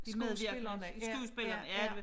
De medvirkende skuespillerne ja